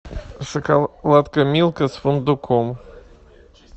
шоколадка милка с фундуком